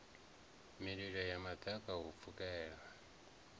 mililo ya maḓaka u pfukela